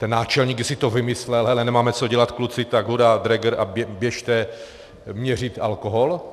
Ten náčelník jestli to vymyslel, hele, nemáme co dělat, kluci, tak hurá, dräger a běžte měřit alkohol?